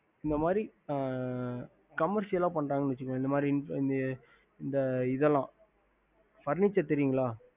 இந்த மாரி comersiol பன்றாக வச்சிக்கோ இந்தமாரி இத்தல